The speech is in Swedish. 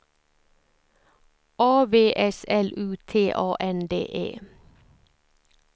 A V S L U T A N D E